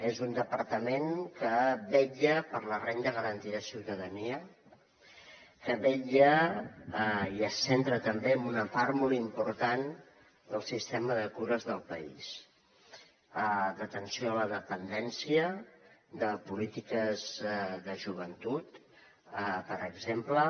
és un departament que vetlla per la renda garantida de ciutadania que vetlla i es centra també en una part molt important del sistema de cures del país d’atenció a la dependència de polítiques de joventut per exemple